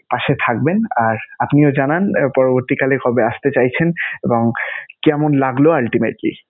পাশে থাকবেন আর আপনিও জানান এর পরবর্তীকালে কবে আসতে চাইছেন এবং কেমন লাগলো.